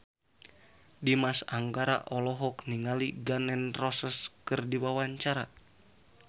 Dimas Anggara olohok ningali Gun N Roses keur diwawancara